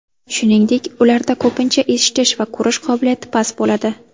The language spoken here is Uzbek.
Shuningdek, ularda ko‘pincha eshitish va ko‘rish qobiliyati past bo‘ladi.